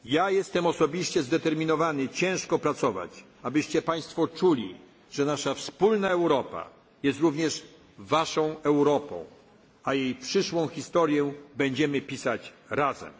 Europą. Jestem osobiście zdeterminowany ciężko pracować, abyście czuli Państwo, że nasza wspólna Europa, jest również waszą Europą. A jej przyszłą historię będziemy